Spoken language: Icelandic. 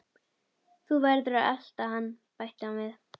Þú verður að elta hann bætti hann við.